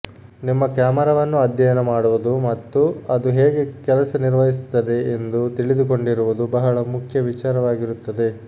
ನಿಮ್ಮ ಕ್ಯಾಮರಾವನ್ನು ಅಧ್ಯಯನ ಮಾಡುವುದು ಮತ್ತು ಅದು ಹೇಗೆ ಕೆಲಸ ನಿರ್ವಹಿಸುತ್ತದೆ ಎಂದು ತಿಳಿದುಕೊಂಡಿರುವುದು ಬಹಳ ಮುಖ್ಯ ವಿಚಾರವಾಗಿರುತ್ತದೆ